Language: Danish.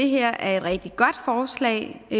det her er et rigtig godt forslag vi